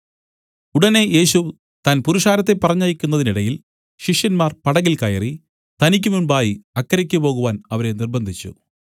ഉടനെ യേശു താൻ പുരുഷാരത്തെ പറഞ്ഞയക്കുന്നതിനിടയിൽ ശിഷ്യന്മാർ പടകിൽ കയറി തനിക്കുമുമ്പായി അക്കരയ്ക്ക് പോകുവാൻ അവരെ നിര്‍ബ്ബന്ധിച്ചു